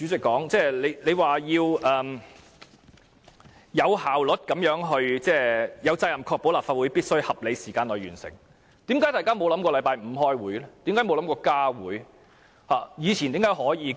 我最後要對主席說，他有責任確保立法會必須在合理時間內完成審議《條例草案》，為何大家沒有想過在星期五開會？